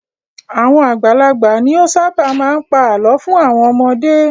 Àwọn àgbàlagbà ni ó ṣábà máa ń pa àlọ́ fún àwọn ọmọdé.